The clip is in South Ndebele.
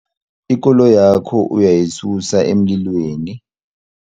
Ikoloyakho uyayisusa emlilweni.